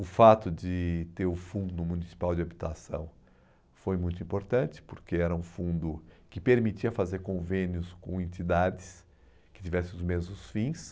O fato de ter o fundo municipal de habitação foi muito importante, porque era um fundo que permitia fazer convênios com entidades que tivessem os mesmos fins.